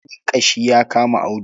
Sanyin ƙashi ya kama Audu.